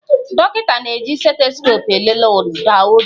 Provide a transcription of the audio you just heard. Dọkịta na-eji stetoskoopu elele ụda obi